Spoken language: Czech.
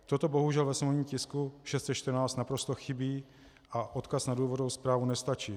Toto bohužel ve sněmovním tisku 614 naprosto chybí a odkaz na důvodovou zprávu nestačí.